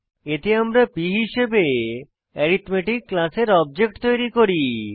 এতে আমরা p হিসাবে অ্যারিথমেটিক ক্লাসের অবজেক্ট তৈরী করি